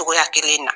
Togoya kelen in na